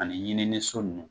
Ani ɲininiso ninnu